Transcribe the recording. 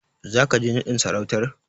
Zaka je naɗin sarautar?